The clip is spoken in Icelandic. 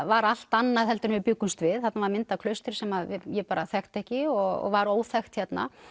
var allt annað heldur en við bjuggumst við þarna var mynd af klaustri sem ég bara þekkti ekki og var óþekkt hérna